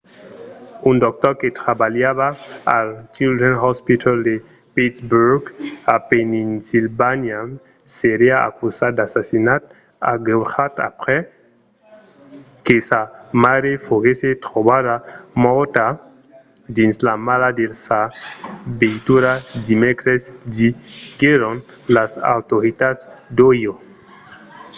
un doctor que trabalhava al children's hospital de pittsburgh pennsilvània serà acusat d'assassinat agreujat aprèp que sa maire foguèsse trobada mòrta dins la mala de sa veitura dimècres diguèron las autoritats d'ohio